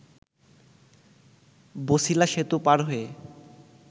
বছিলা সেতু পার হয়ে